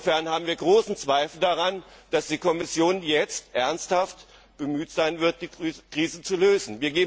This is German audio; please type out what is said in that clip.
Insofern haben wir große Zweifel daran, dass die Kommission jetzt ernsthaft bemüht sein wird, die Krise zu lösen.